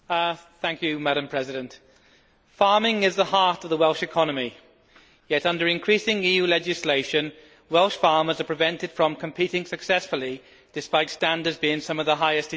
Madam President, farming is the heart of the Welsh economy, yet under increasing EU legislation Welsh farmers are prevented from competing successfully, despite standards being some of the highest in Europe.